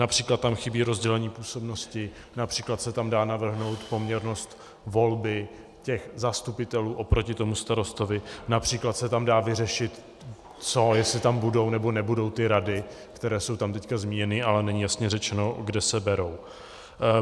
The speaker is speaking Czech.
Například tam chybí rozdělení působnosti, například se tam dá navrhnout poměrnost volby těch zastupitelů oproti tomu starostovi, například se tam dá vyřešit to, jestli tam budou nebo nebudou ty rady, které jsou tam teď zmíněny, ale není jasně řečeno, kde se berou.